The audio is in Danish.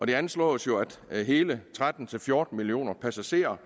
det anslås jo at hele tretten til fjorten millioner passagerer